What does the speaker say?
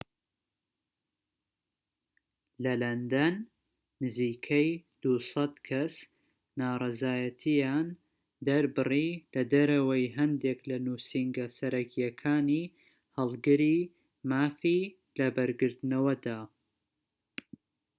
لە لەندەن، نزیکەی ٢٠٠ کەس ناڕەزایەتیان دەربڕی لەدەرەوەی هەندیك لە نوسینگە سەرەکیەکانی هەڵگری مافی لەبەرگرتنەوەدا